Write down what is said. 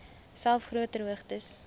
selfs groter hoogtes